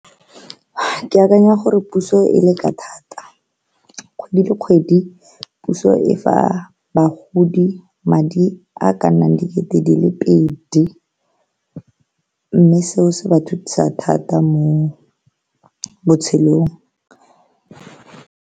Ke akanya gore puso e leka thata, kgwedi le kgwedi puso e fa bagodi madi a ka nnang dikete di le pedi mme seo se ba thusa thata mo botshelong.